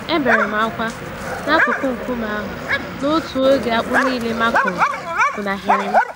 Eberem ákwà n'akụkụ nkume ahụ, n'otu oge akpụ nílé ma kụrụ, funahịrịm